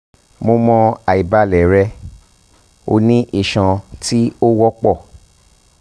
mo mọ aibalẹ rẹ o ni iṣan ti o wọpọ